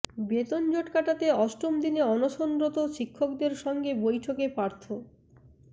বেতন জট কাটাতে অষ্টম দিনে অনশনরত শিক্ষকদের সঙ্গে বৈঠকে পার্থ